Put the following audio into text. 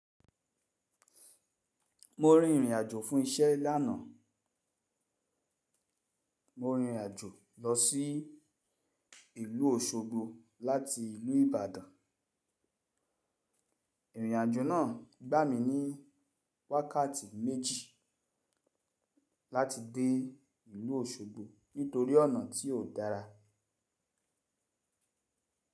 Mo rin ìrìn àjò fún iṣẹ́ lánàá. Mo rìn ìrìn àjò lọ sí ìlú Òṣogbo láti ìlú Ìbàdàn. Ìrìn àjò náà gbà mí ní wákàtí méjì láti dé ìlú Òṣogbo nítorí ọ̀nà tí ò dára.